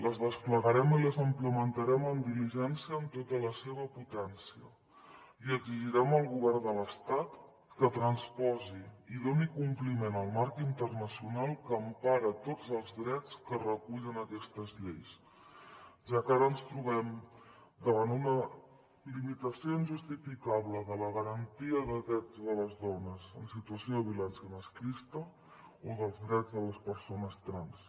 les desplegarem i les implementarem amb diligència i amb tota la seva potència i exigirem al govern de l’estat que transposi i doni compliment al marc internacional que empara tots els drets que recullen aquestes lleis ja que ara ens trobem davant una limitació injustificable de la garantia de drets de les dones en situació de violència masclista o dels drets de les persones trans